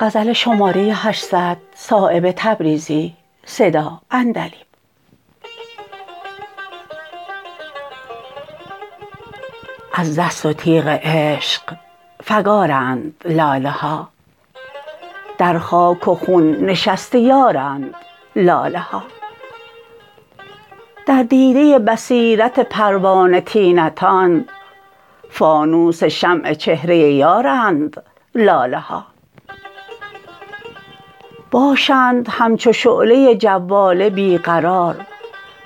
از دست و تیغ عشق فگارند لاله ها در خاک و خون نشسته یارند لاله ها در دیده بصیرت پروانه طینتان فانوس شمع چهره یارند لاله ها باشند همچو شعله جواله بی قرار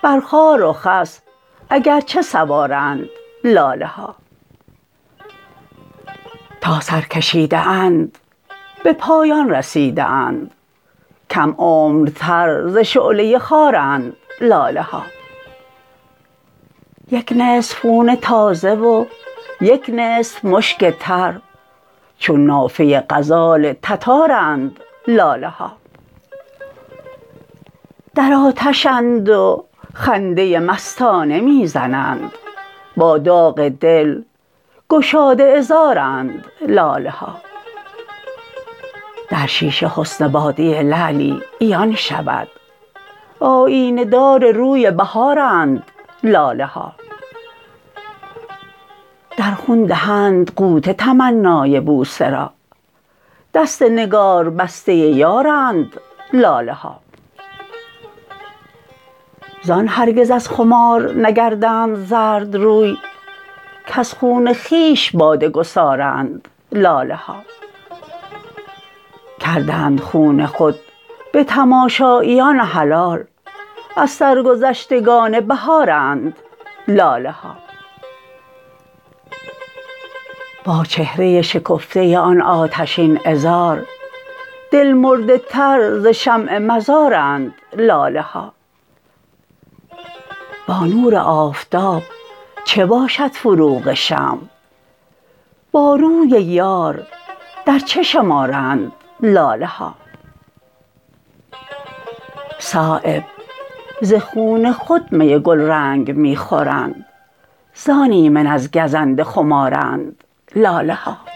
بر خار و خس اگرچه سوارند لاله ها تا سر کشیده اند به پایان رسیده اند کم عمرتر ز شعله خارند لاله ها یک نصف خون تازه و یک نصف مشک تر چون نافه غزال تتارند لاله ها در آتشند و خنده مستانه می زنند با داغ دل گشاده عذارند لاله ها در شیشه حسن باده لعلی عیان شود آیینه دار روی بهارند لاله ها در خون دهند غوطه تمنای بوسه را دست نگاربسته یارند لاله ها زان هرگز از خمار نگردند زردروی کز خون خویش باده گسارند لاله ها کردند خون خود به تماشاییان حلال از سرگذشتگان بهارند لاله ها با چهره شکفته آن آتشین عذار دل مرده تر ز شمع مزارند لاله ها با نور آفتاب چه باشد فروغ شمع با روی یار در چه شمارند لاله ها صایب ز خون خود می گلرنگ می خورند زان ایمن از گزند خمارند لاله ها